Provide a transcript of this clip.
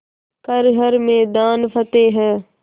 कर हर मैदान फ़तेह